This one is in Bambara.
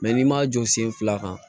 n'i ma jɔ sen fila kan